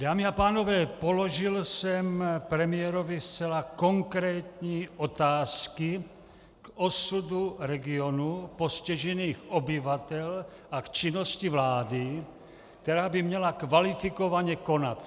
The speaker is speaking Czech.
Dámy a pánové, položil jsem premiérovi zcela konkrétní otázky k osudu regionu, postižených obyvatel a k činnosti vlády, která by měla kvalifikovaně konat.